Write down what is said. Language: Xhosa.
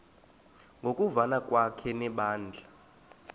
ngokuvana kwakhe nebandla